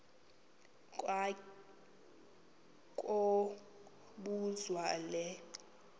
kwa kobuzwa le